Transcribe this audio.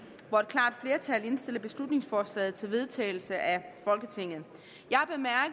hvor et klart flertal indstiller beslutningsforslaget til vedtagelse af folketinget